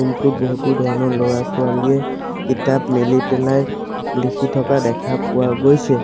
ৰুমটোত বহুতো ধৰণৰ ল'ৰা ছোৱালীয়ে কিতাপ মেলি পেলাই লিখি থকা দেখা পোৱা গৈছে।